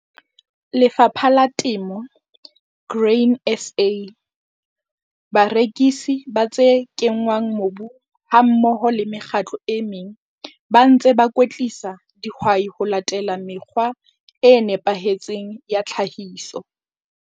LEFAPHA LA TEMO, GRAIN SA, BAREKISI BA TSE KENNGWANG MOBUNG HAMMOHO LE MEKGATLO E MENG BA NTSE BA KWETLISA DIHWAI HO LATELA MEKGWA E NEPAHETSENG YA TLHAHISO.